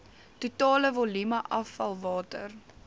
totale volume afvalwater